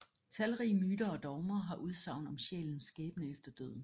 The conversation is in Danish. Talrige myter og dogmer har udsagn om sjælens skæbne efter døden